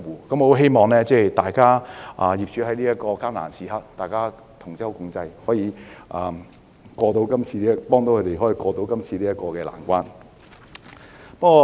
我希望業主在這個艱難時刻能夠同舟共濟，幫助業界渡過今次的難關。